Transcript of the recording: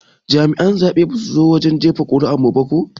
Jami'a na zaɓe basu zo wajen jefa kuri'ar mu ko ba.